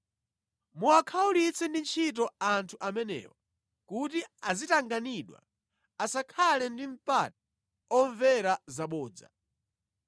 Muwakhawulitse ndi ntchito anthu amenewa kuti azitanganidwa, asakhale ndi mpata omvera zabodza.”